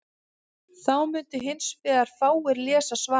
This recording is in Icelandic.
þá mundu hins vegar fáir lesa svarið